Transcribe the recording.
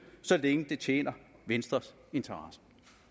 så længe det tjener venstres interesser